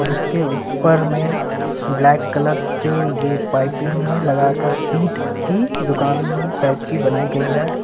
और उसके ऊपर में ब्लैक कलर से ये पाइपिंग में लगाकर शीट की दुकान टाइप की बनाई गई है।